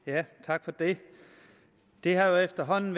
tak for det det er jo efterhånden